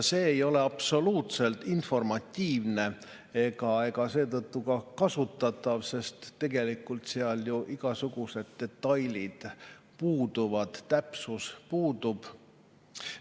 See ei ole absoluutselt informatiivne ega seetõttu ka kasutatav, sest tegelikult seal ju igasugused detailid puuduvad ja täpsus puudub.